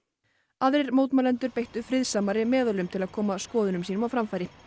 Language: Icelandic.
aðrir mótmælendur beittu friðsamari meðölum til að koma skoðunum sínum á framfæri